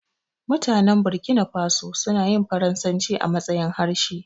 Mutanen Burkina faso suna yin faransaci a matsayin harshe.